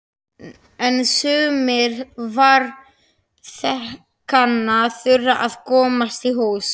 En sumir farþeganna þurfa að komast í hús.